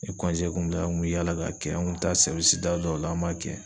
Ni kun bila an kun bi yaala k'a kɛ an kun mi taa da dɔw la an b'a kɛ.